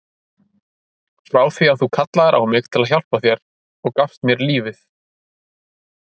Frá því að þú kallaðir á mig til að hjálpa þér og gafst mér lífið.